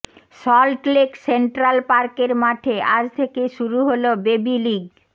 Salt Lake central পার্কের মাঠে আজ থেকে শুরু হল বেবি লিগ